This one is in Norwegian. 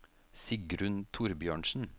Sigrunn Thorbjørnsen